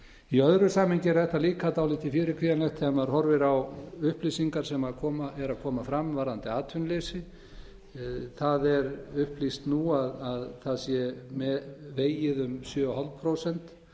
í öðru samhengi er þetta líka dálítið fyrirkvíðanlegt þegar maður horfir á upplýsingar sem eru að koma fram varðandi atvinnuleysi það er upplýst nú að það sé vegið um sjö og hálft prósent